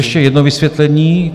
Ještě jedno vysvětlení.